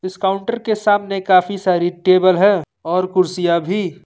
इस काउंटर के सामने काफी सारी टेबल है और कुर्सियां भी।